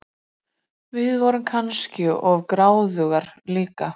Við vorum kannski of gráðugar líka.